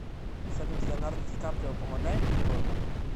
салют леонардо ди каприо помогает природе